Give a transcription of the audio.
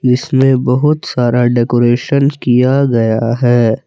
इसमें बहोत सारा डेकोरेशन किया गया है।